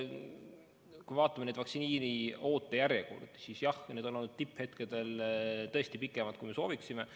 Kui me vaatame vaktsiini ootejärjekordi, siis jah, need on olnud tipphetkedel tõesti pikemad, kui me sooviksime.